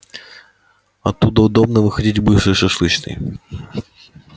оттуда удобно выходить к бывшей шашлычной